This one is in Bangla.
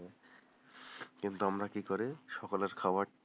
কিন্তু আমরা কি করে সকালের খাবারটা,